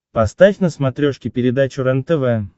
поставь на смотрешке передачу рентв